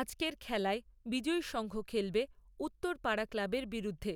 আজকের খেলায় বিজয়ী সংঘ খেলবে উত্তর পাড়া ক্লাবের বিরুদ্ধে।